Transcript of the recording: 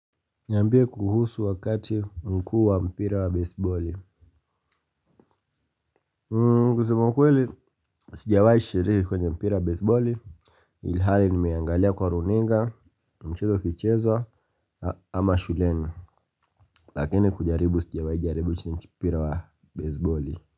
Niambie kuhusu wakati nkuwa mpira wa baseballi. Kusema ukweli sijawai shiriki kwenye mpira wa baseballi. Ilhali nimeangalia kwa runinga mchezo ukichezwa ama shuleni lakininkujaribu sijawahi kujaribu mpora wa baseboli.